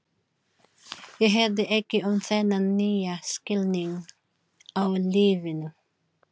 Ég hirði ekki um þennan nýja skilning á lífinu.